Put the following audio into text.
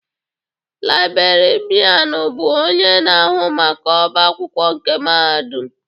Laibrerịanu bụ onye na-ahụ maka ọbá akwụkwọ nke mahadum.